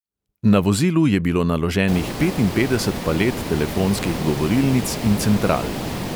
Na vozilu je bilo naloženih petinpetdeset palet telefonskih govorilnic in central.